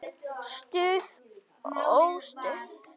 Stuð og óstuð.